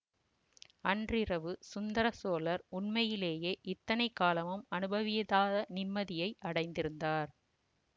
அன்றிரவு சுந்தர சோழர் உண்மையிலேயே இத்தனை காலமும் அனுபவியத நிம்மதியை அடைந்திருந்தார்